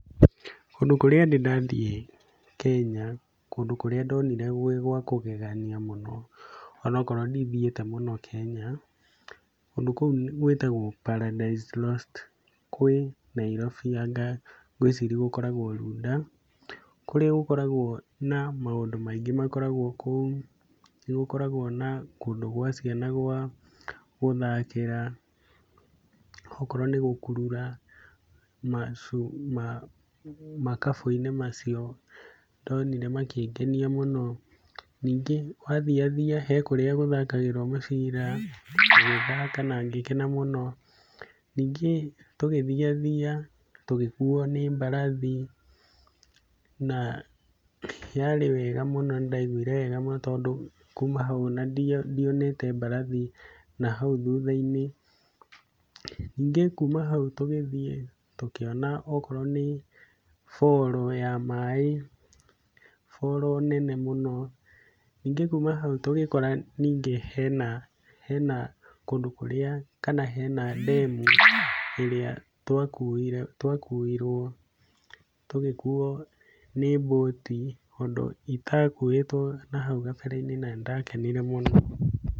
Kũndũ kũrĩa ndĩ ndathiĩ Kenya, kũndũ kũria ndonire gwĩ gwa kũgegania mũno ona okorwo ndithiĩte mũno Kenya, kũndũ kũu gwĩtagwo Paradise Lost. Kwĩ nairobi anga ngwĩciria gũkoragwo Runda. Kũrĩa gũkoragwo na maũndũ maingĩ makoragwo kũu. Nĩ gũkoragwo na kũndũ gwa ciana gũthakĩra, okorwo nĩ gũkurura makabũ-inĩ macio ndonire makĩngenia mũno. Ningĩ wathiathia he kũrĩa gũthakagĩrwo mũbira, ngĩthaka na ngĩkena mũno. Ningĩ tũgĩthiathia tũgĩkuo nĩ mbarathi na yarĩ wega mũno nĩ ndaiguire wega mũno, tondũ kuuma hau ona ndionete mbarathi na hau thutha-inĩ. Ningĩ kuuma hau tũgĩthiĩ tũkĩona okorwo nĩ falls ya maĩ falls nene mũno. Ningĩ kuuma hau tũgĩkora ningĩ hena kũndũ kũrĩa kana hena dam ĩrĩa twakuirwo, tũgĩkuo nĩ boat ũndũ itakuĩtwo nahau kabere-inĩ na nĩ ndakenire mũno.